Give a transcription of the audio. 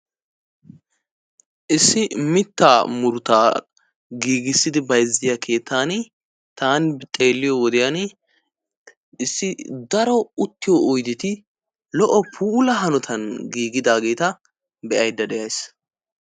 Issi mittaa muruttaa giigisidi bayzziyaa keettaani taani xeelliyoo wodiyaan issi daro uttiyoo oydeti lo"o puula hanotaan giigidaaget be"aydda de'ays.